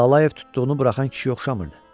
Lalayev tutduğunu buraxan kişiyə oxşamırdı.